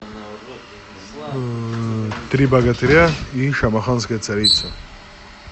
три богатыря и шамаханская царица